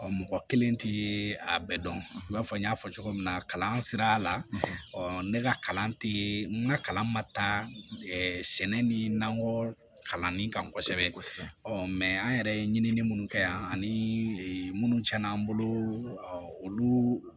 Ɔ mɔgɔ kelen tɛ a bɛɛ dɔn i b'a fɔ n y'a fɔ cogo min na kalan sira la ne ka kalan tɛ n ka kalan ma taa sɛnɛ ni nakɔ kalanni kan kosɛbɛ kosɛbɛ ɔ mɛ an yɛrɛ ye ɲinili minnu kɛ yan ani munnu tiɲɛna n bolo ɔ olu